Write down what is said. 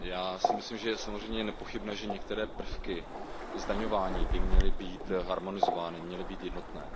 Já si myslím, že je samozřejmě nepochybné, že některé prvky zdaňování by měly být harmonizovány, měly by být jednotné.